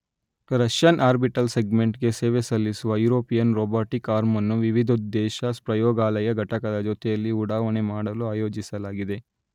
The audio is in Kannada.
ರಷ್ಯನ್ ಆರ್ಬಿಟಲ್ ಸೆಗ್ಮೆಂಟ್ ಗೆ ಸೇವೆಸಲ್ಲಿಸುವ ಯುರೋಪಿಯನ್ ರೋಬಾಟಿಕ್ ಆರ್ಮ್ ಅನ್ನು ವಿವಿಧೋದ್ದೇಶ ಪ್ರಯೋಗಾಲಯ ಘಟಕದ ಜೊತೆಯಲ್ಲಿ ಉಡಾವಣೆ ಮಾಡಲು ಯೋಜಿಸಲಾಗಿದೆ.